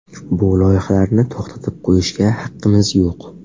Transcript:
Bu loyihalarni to‘xtatib qo‘yishga haqqimiz yo‘q.